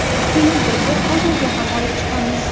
Keyin birga bozorga ham olib chiqamiz.